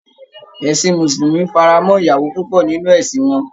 Ẹ̀sin mùsùlùmí fara mọ́ ìyàwó púpọ̀ nínú ẹ̀sin wọn